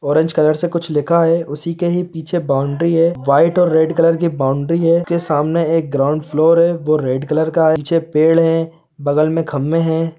Orange colour से कुछ लिखा है उसी के ही पीछे एक बाउंड्री है व्हाइट और रेड कलर की बाउंड्री है के सामने एक ग्राउंड फ्लोर है वह रेड कलर का है पीछे पेड़ है बगल में खम्बे है।